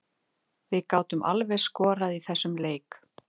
Við gátum alveg skorað í þessum leik.